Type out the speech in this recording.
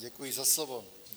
Děkuji za slovo.